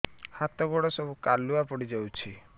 ହାତ ଗୋଡ ସବୁ କାଲୁଆ ପଡି ଯାଉଛି